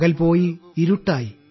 പകൽ പോയി ഇരുട്ടായി